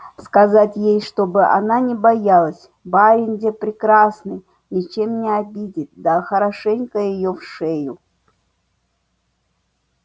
сказать ей чтобы она не боялась барин-де прекрасный ничем не обидит да хорошенько её в шею